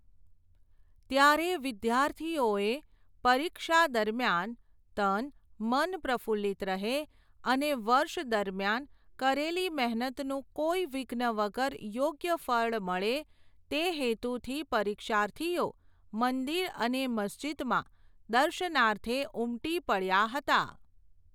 ત્યારે વિદ્યાર્થીઓએ, પરીક્ષા દરમિયાન, તન, મન પ્રફુલ્લિત રહે, અને વર્ષ દરમિયાન કરેલી મહેનતનું કોઇ વિઘ્ન વગર યોગ્ય ફળ મળે, તે હેતુથી પરીક્ષાર્થીઓ, મંદિર અને મસ્જિદમાં, દર્શનાર્થે ઉમટી પડયા હતા.